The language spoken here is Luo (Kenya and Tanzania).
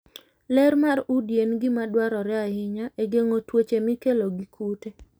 Ler mar udi en gima dwarore ahinya e geng'o tuoche mikelo gi kute.